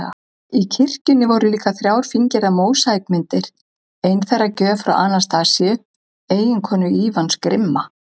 Í kirkjunni voru líka þrjár fíngerðar mósaíkmyndir, ein þeirra gjöf frá Anastasíu, eiginkonu Ívans grimma